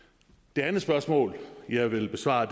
det andet spørgsmål jeg vil besvare